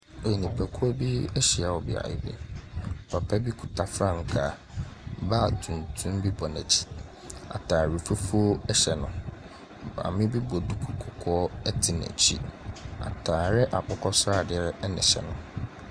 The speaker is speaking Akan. Nnipakuo bi ahyia wɔ beaeɛ bi. Papa bi kuta frankaa, baage tumtum bi bɔ n'akyi. Atare fufuo ɛhyɛ no. Maame bi bɔ duku kɔkɔɔ ɛte n'akyi. Atare akokɔsradeɛ ɛhyɛ no.